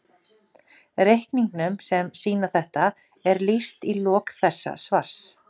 Reikningum sem sýna þetta er lýst í lok þessa svars.